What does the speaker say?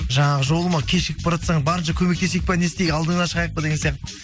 жаңағы жолыма кешігіп баратсаң барынша көмектесейік па не істейік алдыңнан шығайық па деген сияқты